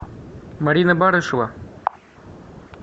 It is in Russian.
марина барышева